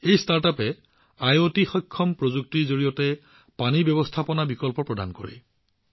এই ষ্টাৰ্টআপে আইঅটি সক্ষম প্ৰযুক্তিৰ জৰিয়তে পানী ব্যৱস্থাপনা বিকল্প প্ৰদান কৰে